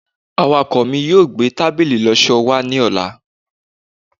awakọ mi yíò gbe tábìlì ìloso wa ni ọla